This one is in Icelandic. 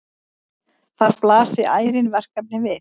Þar blasi ærin verkefni við.